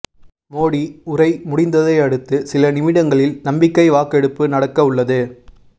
மோடி உரை முடிந்ததையடுத்து சில நிமிடங்களில் நம்பிக்கை வாக்கெடுப்பு நடக்க உள்ளது